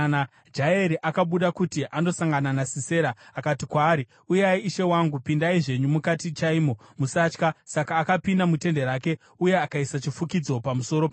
Jaeri akabuda kuti andosangana naSisera akati kwaari, “Uyai ishe wangu, pindai zvenyu mukati chaimo. Musatya.” Saka akapinda mutende rake, uye akaisa chifukidzo pamusoro pake.